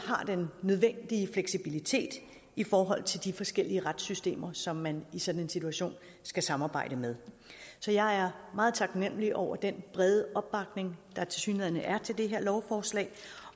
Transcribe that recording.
har den nødvendige fleksibilitet i forhold til de forskellige retssystemer som man i sådan en situation skal samarbejde med så jeg er meget taknemlig over den brede opbakning der tilsyneladende er til det her lovforslag